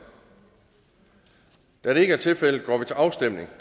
da det ikke er tilfældet går vi til afstemning